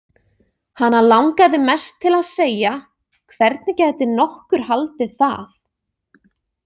Hana langaði mest til að segja: Hvernig gæti nokkur haldið það?